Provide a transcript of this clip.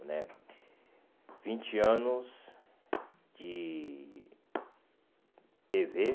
né vinte anos de tê vê